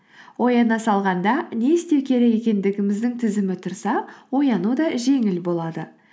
ояна салғанда не істеу керек екендігіміздің тізімі тұрса ояну да жеңіл болады